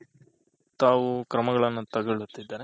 ತಾವು ಕ್ರಮಗಳನ್ನು ತಗೊಳುತ್ತಿದ್ದಾರೆ.